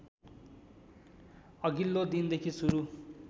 अघिल्लो दिनदेखि सुरु